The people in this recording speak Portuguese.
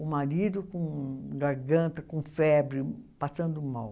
O marido com garganta, com febre, passando mal.